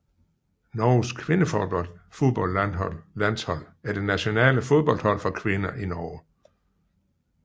Norges kvindefodboldlandshold er det nationale fodboldhold for kvinder i Norge